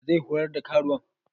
Wa zai horar da karuwan?